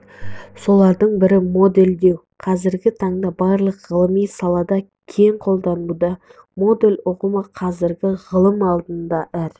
солардың бірі моделдеу қазіргі таңда барлық ғылыми салада кең қолданылуда модель ұғымы қазіргі ғылым алдында әр